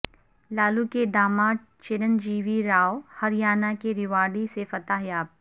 لالو کے داماد چیرن جیوی رائو ہریانہ کے ریواڑی سے فتح یاب